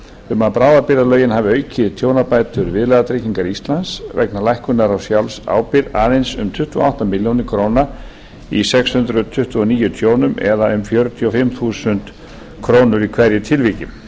um að bráðabirgðalögin hafi aukið tjónabætur viðlagatryggingar íslands vegna lækkunar á sjálfsábyrgð aðeins um tuttugu og átta milljónir króna í sex hundruð tuttugu og níu tjónum eða um fjörutíu og fimm þúsund krónur í hverju tilviki